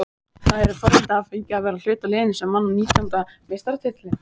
Það eru forréttindi að hafa fengið að vera hluti af liðinu sem vann nítjánda meistaratitilinn.